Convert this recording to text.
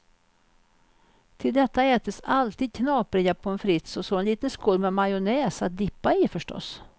Till detta ätes alltid knapriga pommes frites och så en liten skål med majonnäs att dippa i förstås.